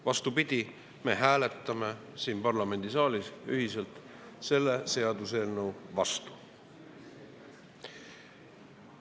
Vastupidi, me hääletame siin parlamendisaalis ühiselt selle seaduseelnõu vastu.